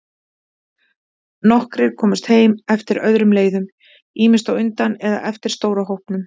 Nokkrir komust heim eftir öðrum leiðum, ýmist á undan eða eftir stóra hópnum.